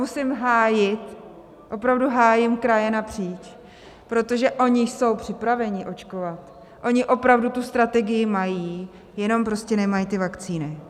Musím hájit, opravdu hájím kraji napříč, protože oni jsou připraveni očkovat, oni opravdu tu strategii mají, jenom prostě nemají ty vakcíny.